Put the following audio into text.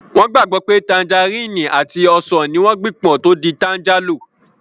Wọ́n gbàgbọ́ pé tanjarínnì àti ọsàn ní wọ́n gbìn pọ̀ tó di tanjálò